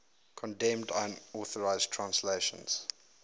condemned unauthorized translations